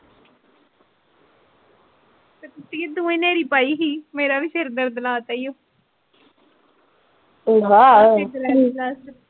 ਤੂੰ ਨ੍ਹੇਰੀ ਪਾਈ ਸੀ ਮੇਰੇ ਵੀ ਸਿਰ ਦਰਦ ਲਾ ਤਾ ਈ ਓ .